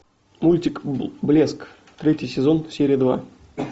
мультик блеск третий сезон серия два